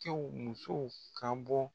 cɛw musow ka bɔ.